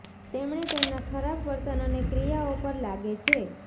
તેમણે તેમના ખરાબ વર્તન અને ક્રિયાઓ પર લાગે છે